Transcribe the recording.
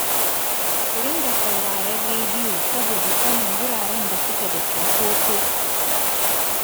Ku dinga sauraron rediyo saboda sanin wuraran da suke da cinkoso